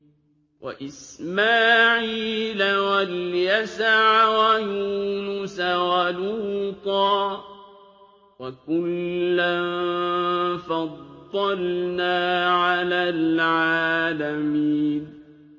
وَإِسْمَاعِيلَ وَالْيَسَعَ وَيُونُسَ وَلُوطًا ۚ وَكُلًّا فَضَّلْنَا عَلَى الْعَالَمِينَ